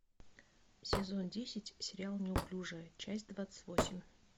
сезон десять сериал неуклюжая часть двадцать восемь